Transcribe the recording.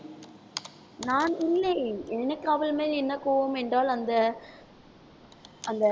நான் இல்லை எனக்கு அவள் மேல் என்ன கோபம் என்றால் அந்த அந்த